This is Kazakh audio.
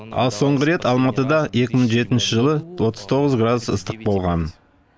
ал соңғы рет алматыда екі мың жетінші жылы отыз тоғыз градус ыстық болған